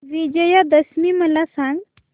विजयादशमी मला सांग